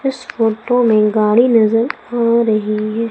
इस फोटो में गाड़ी नजर आ रही है।